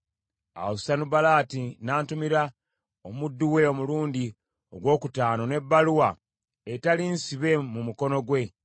Awo Sanubalaati n’antumira omuddu we omulundi ogwokutaano n’ebbaluwa etaali nsibe mu mukono gwe,